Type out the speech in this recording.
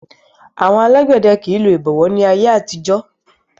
Àwọn alágbẹ̀dẹ kò lo ìbọ̀wọ́ ní ayé àtijó